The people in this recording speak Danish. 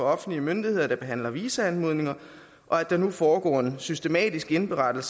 offentlige myndigheder der behandler visumanmodninger og at der nu foregår en systematisk indberetning